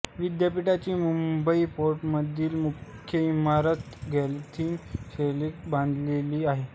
विद्यापीठाची मुंबई फोर्टमधील मुख्य इमारत गॉथिक शैलीत बांधलेली आहे